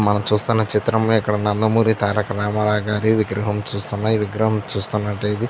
మనం చూస్తున్న చిత్రమే ఇక్కడ నందమూరి తారక రామారావ్ గారి విగ్రహం చూస్తున్నం. చూస్తున్నట్టే ఇది --